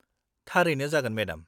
थारैनो, जागोन, मेडाम।